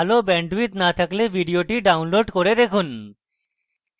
ভাল bandwidth না থাকলে ভিডিওটি download করে দেখুন